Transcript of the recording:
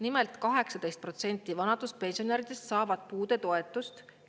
Nimelt 18% vanaduspensionäridest saavad puudetoetust.